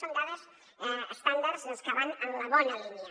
són dades estàndards doncs que van en la bona línia